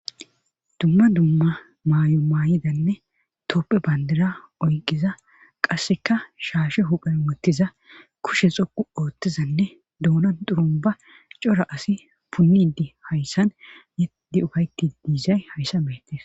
dumma dumma maayo maayidanne toophphe bandira oyqiza qasseka shaashe huphen uttiza kushe xoqu ooththizanne dunan xurumba cora asi punnidi hayssan yedi ukayti diizay hayssa beetes